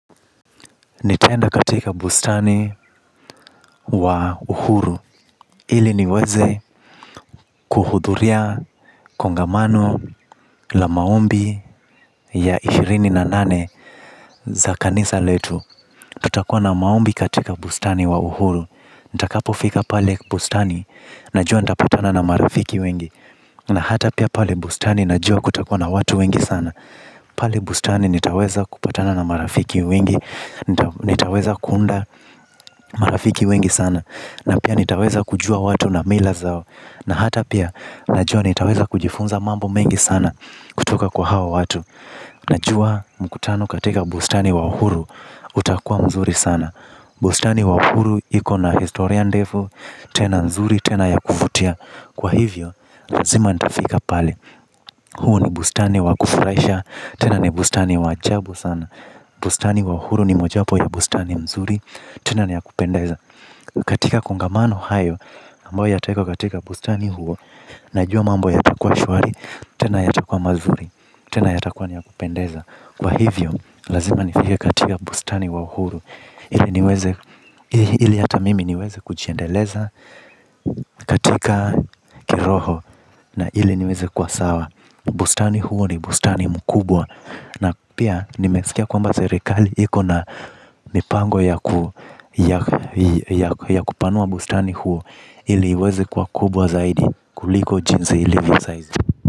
Nitaenda katika bustani wa Uhuru. Ili niweze kuhudhuria kongamano la maombi ya ishirini na nane za kanisa letu. Tutakua na maombi katika bustani wa Uhuru. Nitakapo fika pale bustani na jua nitapatana na marafiki wengi na hata pia pale bustani najua kutakuwa na watu wengi sana. Pale bustani nitaweza kupatana na marafiki wengi. Nitaweza kuunda marafiki wengi sana. Na pia nitaweza kujua watu na mila zao. Na hata pia najua nitaweza kujifunza mambo mengi sana kutoka kwa hawa watu. Najua mkutano katika bustani wa uhuru utakua mzuri sana bustani ya uhuru iko na historia ndefu tena nzuri na ya kuvutia lazima nitafika pale. Huo ni bustani wa kufurahisha tena ni bustani wa jabu sana. Bustani wa uhuru ni moja wapo ya bustani mzuri tena ni ya kupendeza. Katika kongamano hayo ambo ya tawekwa katika bustani huo. Najua mambo ya takua shwari. Tena ya takua mazuri. Tena ya takua niya kupendeza. Kwa hivyo lazima nifike katika bustani wa uhuru. Ili niweze ili ata mimi niweze kuchiendeleza. Katika kiroho na ili niweze kuwasawa bustani huo ni bustani mkubwa. Na pia nimesikia kwamba serekali iko na mipango ya kupanua bustani huo. Iliweze kuwa kubwa zaidi kuliko jinsi ilivyo saizi.